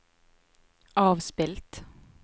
avspilt